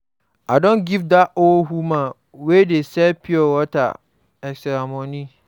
I don give dat old woman wey dey sell pure water extra money.